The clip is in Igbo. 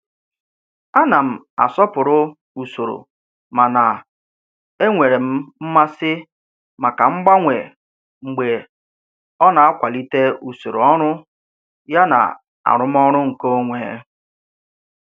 Ana m asọpụrụ usoro mana enwere m mmasị maka mgbanwe mgbe ọ na-akwalite usoro ọrụ yana arụmọrụ nkeonwe.